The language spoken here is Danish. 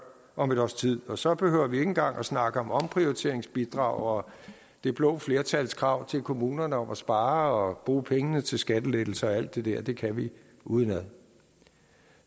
om et års tid og så behøver vi ikke engang snakke om omprioriteringsbidrag og det blå flertals krav til kommunerne om at spare og bruge pengene til skattelettelser og alt det dér det kan vi udenad